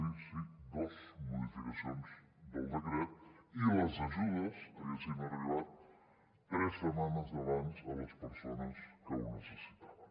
sí sí dos modificacions del decret i les ajudes haguessin arribat tres setmanes abans a les persones que ho necessitaven